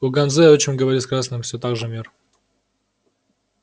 у ганзы отчим говорит с красными всё так же мир